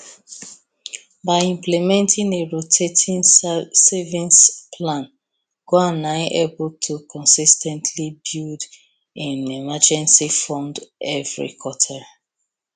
by implementing a rotating savings plan juan na able to consis ten tly build im emergency fund everi quarter